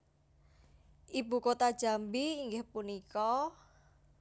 Ibu kota Jambi inggih punika?